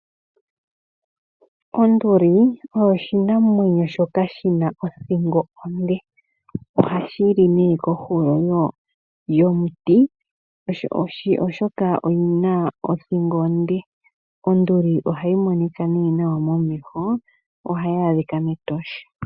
Onduli oyo oshinamwenyo shoka shina othingo onde oha shi li nee kohulo yomuti oshoka oyina othingo onde. Onduli oha yi monika nee nawa momeho, oha yi adhika mEtosha.